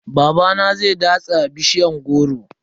Babana zai datsa bishiyan goro.